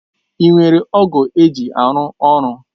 Ị nwere ọ̀gu eji arụ ọrụ?